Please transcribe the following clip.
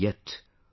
Yet...